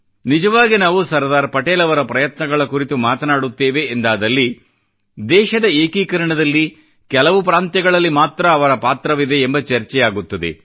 ನಿಜವಾಗಿ ನಾವು ಸರ್ದಾರ್ ಪಟೇಲ್ ಅವರ ಪ್ರಯತ್ನಗಳ ಕುರಿತು ಮಾತನಾಡುತ್ತೇವೆ ಎಂದಾದಲ್ಲಿ ದೇಶದ ಏಕೀಕರಣದಲ್ಲಿ ಕೆಲವು ಪ್ರಾಂತ್ಯಗಳಲ್ಲಿ ಮಾತ್ರ ಅವರ ಪಾತ್ರವಿದೆ ಎಂಬ ಚರ್ಚೆಯಾಗುತ್ತದೆ